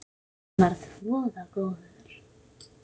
Hann var voða góður.